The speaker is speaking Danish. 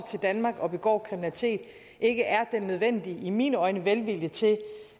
til danmark og begår kriminalitet ikke er den nødvendige i mine øjne velvilje til